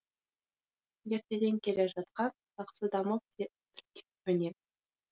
ертеден келе жатқан жақсы дамып жетілген өнер